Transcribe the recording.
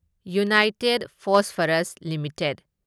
united phosphorus limited